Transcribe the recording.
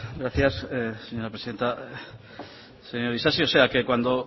gracias señora presidenta señor isasi o sea que